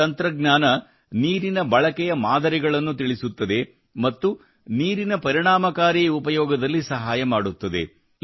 ಈ ತಂತ್ರಜ್ಞಾನ ನೀರಿನ ಬಳಕೆಯ ಮಾದರಿಗಳನ್ನು ತಿಳಿಸುತ್ತದೆ ಮತ್ತು ನೀರಿನ ಪರಿಣಾಮಕಾರಿ ಉಪಯೋಗದಲ್ಲಿ ಸಹಾಯ ಮಾಡುತ್ತದೆ